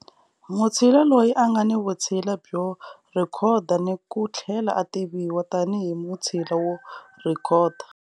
Mutshila loyi a nga ni vutshila byo rhekhoda ni u tlhela a tiviwa tanihi mutshila wo rhekhoda.